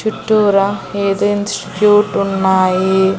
చుట్టూరా ఉన్నాయి.